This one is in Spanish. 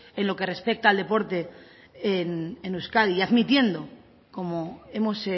en lo que respecta al deporte en euskadi y admitiendo como hemos